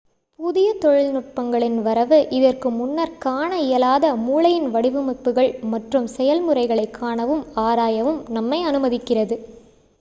புதிய தொழில்நுட்பங்களின் வரவு இதற்கு முன்னர் காண இயலாத மூளையின் வடிவமைப்புகள் மற்றும் செயல்முறைகளை காணவும் ஆராயவும் நம்மை அனுமதிக்கிறது